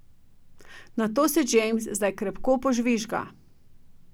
Na to se James zdaj krepko požvižga.